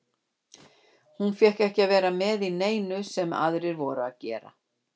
Hún fékk ekki að vera með í neinu sem aðrir voru að gera.